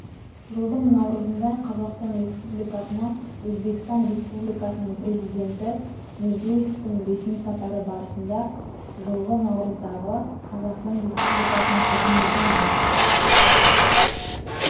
жылдың наурызында қазақстан республикасына өзбекстан республикасының президенті мирзиевтің ресми сапары барысында жылғы наурыздағы қазақстан республикасының үкіметі мен